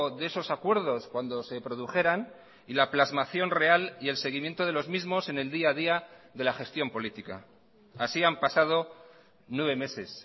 de esos acuerdos cuando se produjeran y la plasmación real y el seguimiento de los mismos en el día a día de la gestión política así han pasado nueve meses